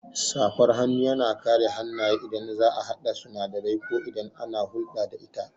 Safar hannu yana kare hannaye idan za'a haɗa sinadarai ko idan ana hulɗa da ita